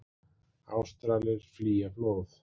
Ástralir flýja flóð